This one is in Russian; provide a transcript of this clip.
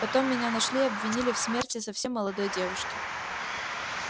потом меня нашли и обвинили в смерти совсем молодой девушки